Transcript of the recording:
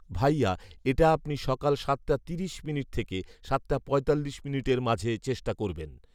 ভাইয়া এটা আপনি সকাল সাতটা তিরিশ মিনিট থেকে সাতটা পঁয়তাল্লিশ মিনিটের মাঝে চেষ্টা করবেন